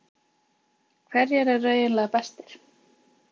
Hverjir eru eiginlega bestir?